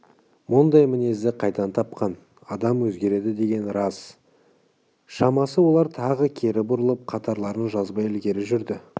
мұндай мінезді қайдан тапқан адам өзгереді деген рас-ау шамасы олар тағы кері бұрылып қатарларын жазбай ілгері жүрді